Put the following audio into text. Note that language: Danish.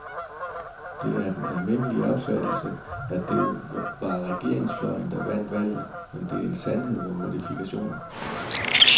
Det er den almindelige opfattelse, at det var regeringsfløjen, der vandt valget, men det er en sandhed med modifikationer.